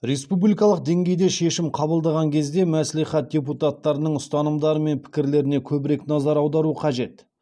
республикалық деңгейде шешім қабылдаған кезде мәслихат депутаттарының ұстанымдары мен пікірлеріне көбірек назар аудару қажет